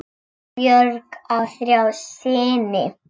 Björk á þrjá syni.